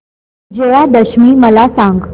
विजयादशमी मला सांग